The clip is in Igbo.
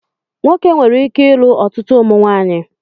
Nwoke nwere ike ilu ọtụtụ ụmụnwaanyị